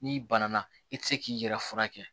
N'i bana na i tɛ se k'i yɛrɛ furakɛ